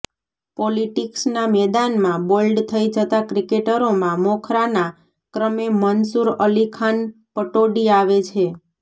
પોલિટિક્સના મેદાનમાં બોલ્ડ થઈ જતા ક્રિકેટરોમાં મોખરાના ક્રમે મનસૂર અલી ખાન પટૌડી આવે છે